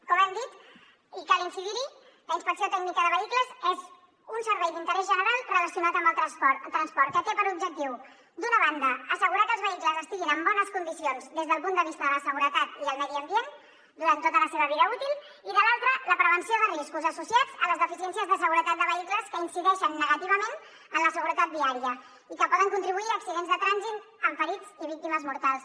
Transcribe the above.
com hem dit i cal incidir hi la inspecció tècnica de vehicles és un servei d’interès general relacionat amb el transport que té per objectiu d’una banda assegurar que els vehicles estiguin en bones condicions des del punt de vista de la seguretat i el medi ambient durant tota la seva vida útil i de l’altra la prevenció de riscos associats a les deficiències de seguretat de vehicles que incideixen negativament en la seguretat viària i que poden contribuir a accidents de trànsit amb ferits i víctimes mortals